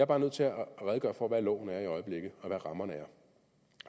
bare nødt til at redegøre for hvad loven er i øjeblikket og hvad rammerne er